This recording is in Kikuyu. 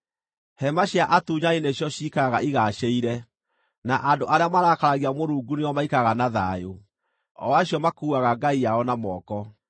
Hema cia atunyani nĩcio ciikaraga igaacĩire, na andũ arĩa marakaragia Mũrungu nĩo maikaraga na thayũ, o acio makuuaga ngai yao na moko.